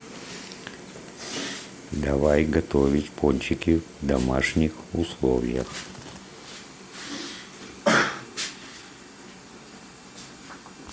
давай готовить пончики в домашних условиях